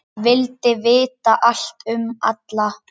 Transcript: Vildi vita allt um alla.